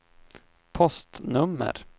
postnummer